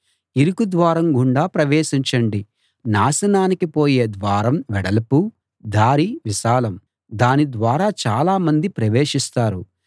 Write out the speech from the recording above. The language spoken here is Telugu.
ఇరుకు ద్వారం గుండా ప్రవేశించండి నాశనానికి పోయే ద్వారం వెడల్పు దారి విశాలం దాని ద్వారా చాలా మంది ప్రవేశిస్తారు